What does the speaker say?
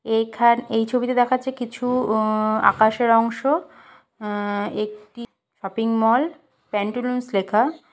এখান--এই ছবিতে দেখাচ্ছে কিছু ওঁ আকাশের অংশ অ্যাঁ একটি অ্যা শপিং মল-ল। প্যান্টুলুন্স লেখা।